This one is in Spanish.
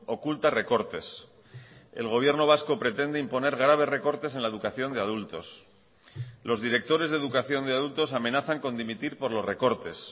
oculta recortes el gobierno vasco pretende imponer graves recortes en la educación de adultos los directores de educación de adultos amenazan con dimitir por los recortes